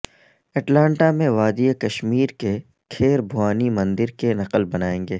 Atlanta میں وادی کشمیر کے کھیر بھوانی مندر کی نقل بنائیں گے